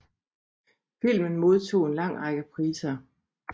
Filmen modtog en lang række priser